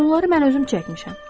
Onları mən özüm çəkmişəm.